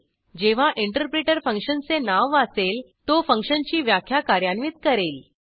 जेव्हा इंटरप्रिटर फंक्शनचे नाव वाचेल तो फंक्शनची व्याख्या कार्यान्वित करेल